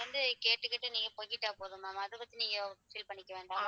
அது வந்து நீங்க கேட்டுட்டு போனா போதும் ma'am அத பத்தி நீங்க feel பண்ணிக்க வேண்டாம்.